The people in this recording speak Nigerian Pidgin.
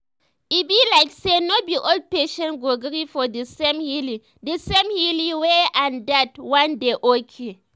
e be like say no be all patients go gree for di same healing di same healing way and dat wan dey okay.